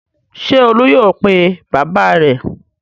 Ṣé Olú yóò pe bàbá rẹ̀?